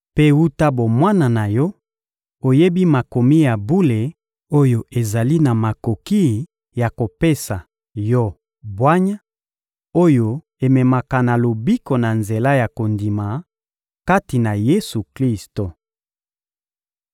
mpe wuta bomwana na yo, oyebi Makomi ya bule oyo ezali na makoki ya kopesa yo bwanya oyo ememaka na lobiko na nzela ya kondima kati na Yesu-Klisto.